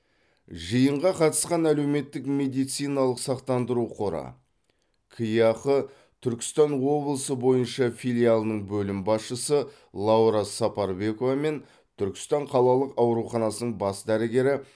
жиынға қатысқан әлеуметтік медициналық сақтандыру қоры кеақ түркістан облысы бойынша филиалының бөлім басшысы лаура сапарбекова мен түркістан қалалық ауруханасының бас дәрігері